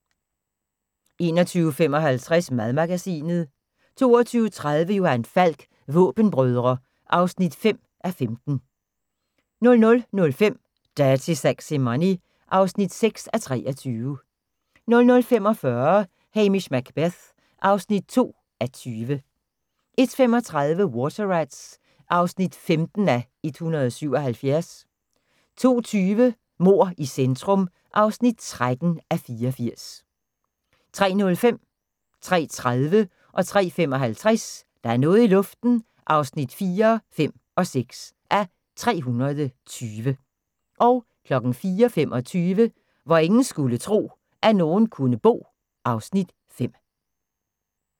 21:55: Madmagasinet 22:30: Johan Falk: Våbenbrødre (5:15) 00:05: Dirty Sexy Money (6:23) 00:45: Hamish Macbeth (2:20) 01:35: Water Rats (15:177) 02:20: Mord i centrum (13:84) 03:05: Der er noget i luften (4:320) 03:30: Der er noget i luften (5:320) 03:55: Der er noget i luften (6:320) 04:25: Hvor ingen skulle tro, at nogen kunne bo (Afs. 5)